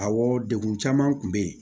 Awɔ degun caman tun bɛ yen